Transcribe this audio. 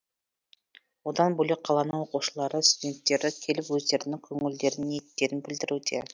одан бөлек қаланың оқушылары студенттері келіп өздерінің көңілдерін ниеттерін білдіруде